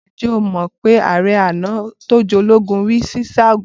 Ǹjẹ́ o mọ̀ pé ààrẹ àná, tó jẹ́ ológun rí sì sáagun?